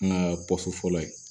An ka fɔlɔ ye